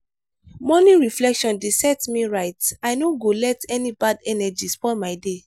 morning reflection dey set me right i no go let any bad energy spoil my day.